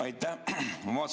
Aitäh!